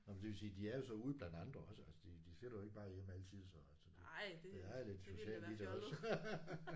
Nåh men det vil sige de er jo så ude blandt andre også altså de de sidder jo ikke bare hjemme altid så så det. Der er lidt socialt alligevel også